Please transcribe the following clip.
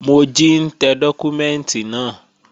Mojí ń tẹ dọ́kúmẹ́ǹtì náà